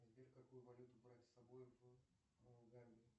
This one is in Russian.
сбер какую валюту брать с собой в